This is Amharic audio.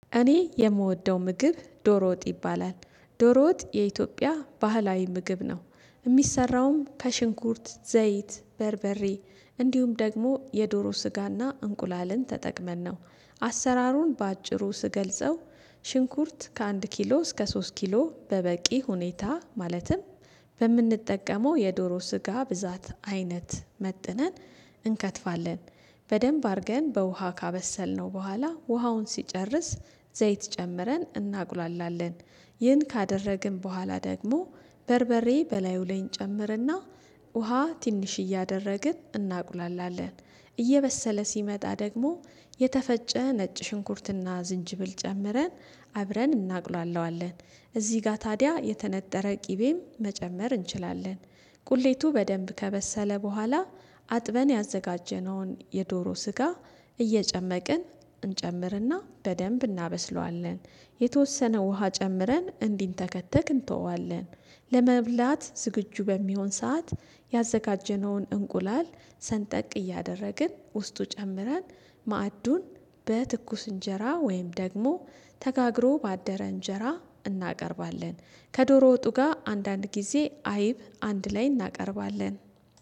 እኔ የምወደው ምግብ ዶሮወጥ ይባላል ዶሮወጥ የኢትዮጵያ ባህላዊ ምግብ ነው። የሚሰራውም ከሽንኩርት ዘይት በርበሬ እንዲሁም ደግሞ የዶሮ ስጋና እንቁላልን ተጠቅመን ነው አሰራሩን በአጭሩ ስገልጸው። ሽንኩርት ከአንድ ኪሎ እስከ ሶስት ኪሎ በበቂ ሁኔታ ማለትም በምንጠቀመው የዶሮ ስጋ ብዛት አይነት መጥነን እንከትፋለን በደንብ አድርገን በውሃ ካበሰልነው በኋላ ውሃውን ሲጨርስ ዘይት ጨምረን እናቁላላለን። ይህን ካደረግን በኋላ ደግሞ በርበሬ በላዩ ላይ እንጨምርና ውሃ ትንሽ እያደረግን እናቁላላለን። እየበሰለ ሲመጣ ደግሞ የተፈጨ ነጭ ሽንኩርትና ዝንጅብል ጨምረን አብረን እናቁላለዋለን እዚህ ጋር ታዲያ የተነጠረ ቅቤም መጨመር እንችላለን። ቁሌቱ በደንብ ከበሰለ በኋላ አጥበን ያዘጋጀነውን የዶሮ ስጋ እየጨመቅን እንጨምርና በደንብ እናበስለዋለን። የተወሰነ ውሃ ጨምረን እንዲንተከተክ እንተወዋለን ለመብላት ዝግጁ በሚሆን ሰዓት ያዘጋጀነውን እንቁላል ሰንጠቅ እያደረግን ውስጡ ጨምረን ማዕዱን በትኩስ እንጀራ ወይም ደግሞ ተጋግሮ ባደረ እንጀራ እናቀርባለን። ከዶሮ ወጡ ጋር አንዳንድ ጊዜ አይብ አንድ ላይ እናቀርባለን።